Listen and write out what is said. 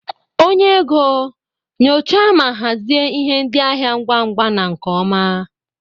Onye ego, nyochaa ma hazie ihe ndị ahịa ngwa ngwa na nke ọma.